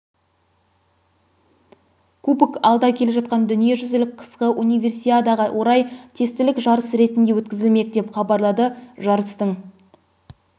кубок алда келе жатқан дүниежүзілік қысқы универсиадаға орай тестілік жарыс ретінде өткізілмек деп хабарлады жарыстың